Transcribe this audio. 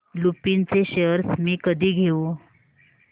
लुपिन चे शेअर्स मी कधी घेऊ